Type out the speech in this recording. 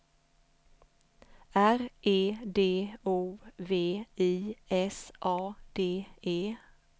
R E D O V I S A D E